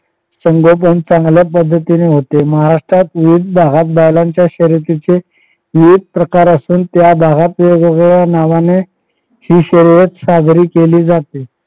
संगोपन चांगल्या पद्धतीने होते महाराष्ट्रात विविध भागात शर्यतीचे विविध प्रकार असून त्या भागात वेगवेगळ्या नावाने हि शर्यत साजरी केली जाते.